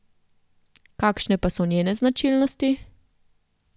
Kakšne pa so njene značilnosti?